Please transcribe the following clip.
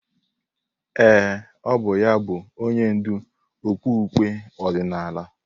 Ee, ọ bụ ya bụ onye ndú okpukpe ọdịnala.